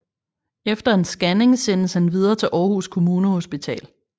Efter en scanning sendes han videre til Århus Kommunehospital